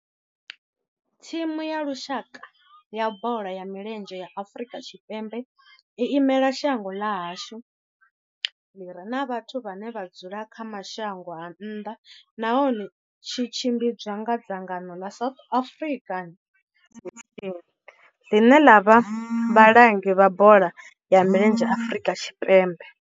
Thimu ya lushaka ya bola ya milenzhe ya Afrika Tshipembe i imela shango ḽa hashu ḽi re na vhathu vhane vha dzula kha mashango a nnḓa nahone tshi tshimbidzwa nga dzangano la South African Football Association, line la vha vhalangi vha bola ya milenzhe Afrika Tshipembe.